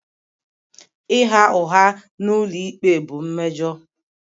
Ịgha ụgha n'ụlọikpe bụ mmejọ.